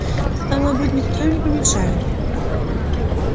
стало быть никто им не помешает